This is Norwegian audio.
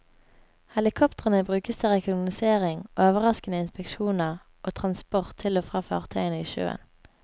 Helikoptrene brukes til rekognosering, overraskende inspeksjoner og trasnsport til og fra fartøyene i sjøen.